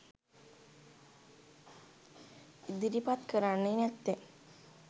ඉදිරිපත් කරන්නේ නැත්තෙ?